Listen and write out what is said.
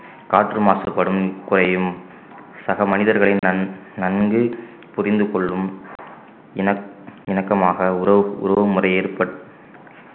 காற்று மாசுபடும் குறையும் சக மனிதர்களின் நன்~ நன்கு புரிந்து கொள்ளும் இண~ இணக்கமாக உறவு உறவு முறை ஏற்பட்~